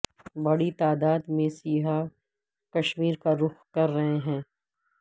بڑی تعداد میں سیاح کشمیر کا رخ کر رہے ہیں